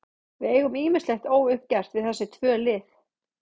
Við eigum ýmislegt óuppgert við þessi tvö lið.